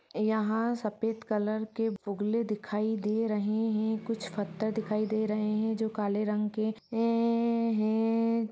यहा सफेद कलर के बुगले दिखाई दे रहे है। कुछ पत्थर दिखाई दे रहे है जो काले रंग के हे हेहे।